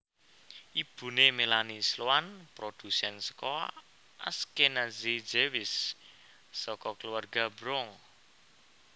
Ibune Melanie Sloan produsen saka Ashkenazi Jewish saka keluarga Bronx